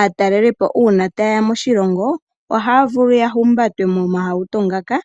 aataelipo uuna tayeya moshilongo ohaya vulu okuhumbatwa momauhato ngaka .